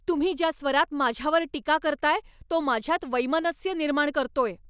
तुम्ही ज्या स्वरात माझ्यावर टीका करताय तो माझ्यात वैमनस्य निर्माण करतोय.